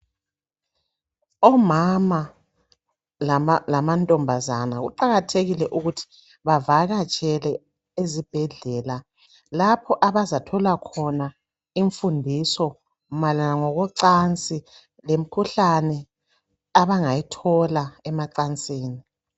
Omama lamantombazana kuqakathekile ukuthi bavakatshele ezibhedlela lapho abazathola khona imfundiso mayelana ngokocansi lemikhuhlane abangayithola emacansini.